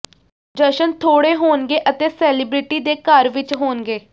ਜਸ਼ਨ ਥੋੜੇ ਹੋਣਗੇ ਅਤੇ ਸੇਲਿਬ੍ਰਿਟੀ ਦੇ ਘਰ ਵਿਚ ਹੋਣਗੇ